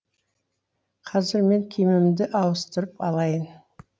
қазір мен киімімді ауыстырып алайын